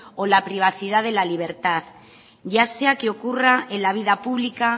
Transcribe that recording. o la privacidad de la libertad ya sea que ocurra en la vida pública